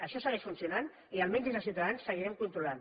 això segueix funcionant i almenys des de ciutadans seguirem controlant